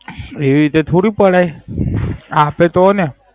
એવી રીતે થોડી પડાય. આપે તો ને.